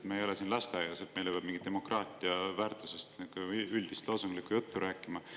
Me ei ole siin lasteaias, et meile peab demokraatia väärtusest mingit üldist loosunglikku juttu rääkima.